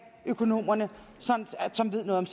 økonomerne som ved noget